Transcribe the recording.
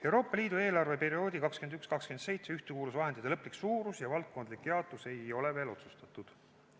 Euroopa Liidu eelarveperioodi 2021–2027 ühtekuuluvusvahendite lõplik suurus ja valdkondlik jaotus ei ole veel otsustatud.